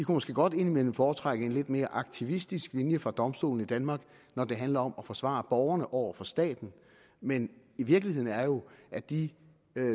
måske godt indimellem foretrække en lidt mere aktivistisk linje fra domstolen i danmark når det handler om at forsvare borgerne over for staten men virkeligheden er jo at de